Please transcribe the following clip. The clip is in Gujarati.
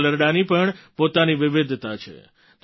હાલરડાંની પણ પોતાની વિવિધતા છે